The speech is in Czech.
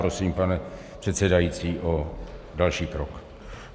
Prosím, pane předsedající, o další krok.